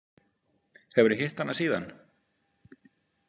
Hefurðu hitt hana síðan?